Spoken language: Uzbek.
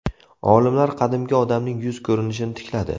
Olimlar qadimgi odamning yuz ko‘rinishini tikladi.